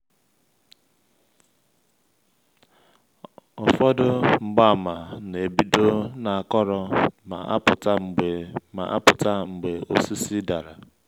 ụfọdụ mgbaàmà na-ebido n’akọrọ ma apụta mgbe ma apụta mgbe osisi dara.